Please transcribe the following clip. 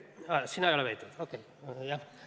Sina ei ole veendunud?